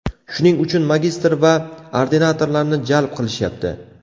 Shuning uchun magistr va ordinatorlarni jalb qilishyapti.